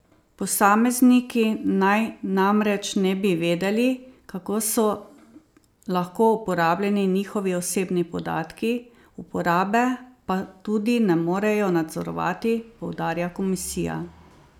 Posamezniki naj namreč ne bi vedeli, kako so lahko uporabljeni njihovi osebni podatki, uporabe pa tudi ne morejo nadzorovati, poudarja komisija.